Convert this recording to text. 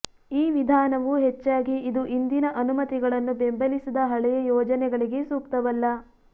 ಈ ವಿಧಾನವು ಹೆಚ್ಚಾಗಿ ಇದು ಇಂದಿನ ಅನುಮತಿಗಳನ್ನು ಬೆಂಬಲಿಸದ ಹಳೆಯ ಯೋಜನೆಗಳಿಗೆ ಸೂಕ್ತವಲ್ಲ